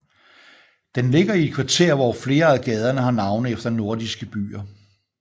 Den ligger i et kvarter hvor flere af gaderne har navne efter nordiske byer